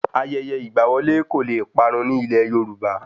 Ayẹyẹ ìgba wọlé kò lè parun ní ilẹ̀ Yorùbá